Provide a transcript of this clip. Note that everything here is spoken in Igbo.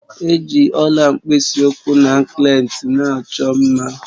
Eji Ọla mkpisi ụkwụ na ankleti na-achọ mma